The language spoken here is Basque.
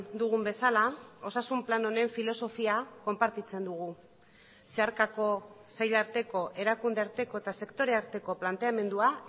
dugun bezala osasun plan honen filosofia konpartitzen dugu zeharkako sei arteko erakunde arteko eta sektore arteko planteamendua